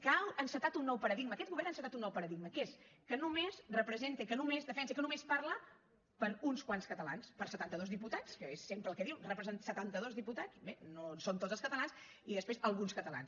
que ha encetat un nou paradigma aquest govern ha encetat un nou paradigma que és que només representa i que només defensa i que només parla per a uns quants catalans per a setanta dos diputats que és sempre el que diu representa setanta dos diputats bé no ho són tots els catalans i després alguns catalans